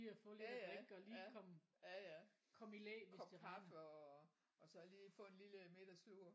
Ja ja ja ja ja kop kaffe og og så lige få en lille middagslur